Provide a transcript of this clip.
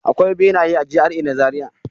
Akwai benaye a GRA na Zariya.